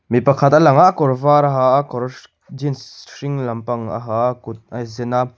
mi pakhat a lang a kawr var a ha a kawr jeans hring lampang a ha a a kut a zen a.